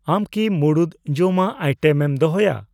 ᱟᱢ ᱠᱤ ᱢᱩᱲᱩᱫ ᱡᱚᱢᱟᱜ ᱟᱭᱴᱮᱢ ᱫᱚᱦᱚᱭᱟ?